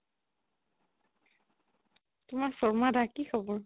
তোমাৰ শৰ্মা দা কি খবৰ?